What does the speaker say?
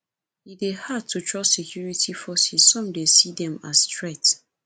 e dey hard to trust security forces some dey see dem as threat